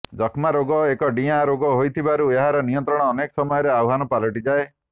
ଯକ୍ଷ୍ମା ରୋଗ ଏକ ଡିଆଁ ରୋଗ ହୋଇଥିବାରୁ ଏହାର ନିୟନ୍ତ୍ରଣ ଅନେକ ସମୟରେ ଆହ୍ୱାନ ପାଲଟିଯାଏ